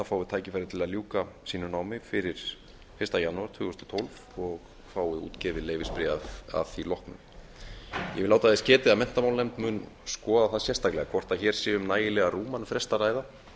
fái tækifæri til að ljúka sínu námi fyrir fyrsta janúar tvö þúsund og tólf og fái útgefið leyfisbréf að því loknu ég vil láta þess getið að menntamálanefnd mun skoða það sérstaklega hvort hér sé um nægilega rúman frest að ræða